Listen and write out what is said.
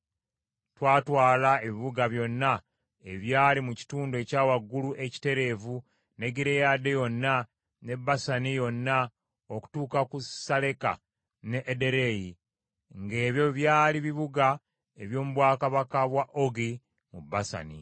Twatwala ebibuga byonna ebyali mu kitundu ekya waggulu ekitereevu ne Gireyaadi yonna ne Basani yonna okutuuka ku Saleka ne Ederei, ng’ebyo byali bibuga eby’omu bwakabaka bwa Ogi mu Basani.